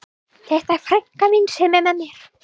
Þetta er frænka mín sem er með mér!